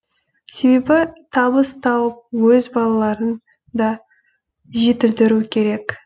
себебі табыс тауып өз балаларын да жетілдіру керек